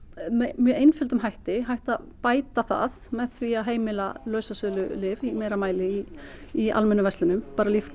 með einföldum hætti hægt að bæta það með því að heimila lausasölulyf í meira mæli í í almennum verslunum